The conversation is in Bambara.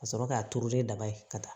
Ka sɔrɔ k'a turulen daba ye ka taa